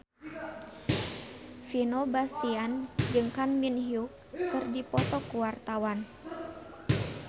Vino Bastian jeung Kang Min Hyuk keur dipoto ku wartawan